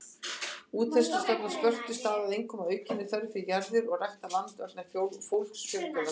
Útþenslustefna Spörtu stafaði einkum af aukinni þörf fyrir jarðir og ræktað land vegna fólksfjölgunar.